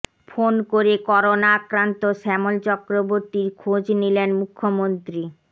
phone করে corona আক্রান্ত শ্যামল চক্রবর্তীর খোঁজ নিলেন মুখ্যমন্ত্রী